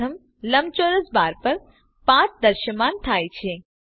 પ્રથમ લંબચોરસ બાર પર પાથ દ્રશ્યમાન થાય છે